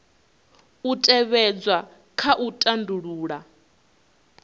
u tevhedzwa kha u tandulula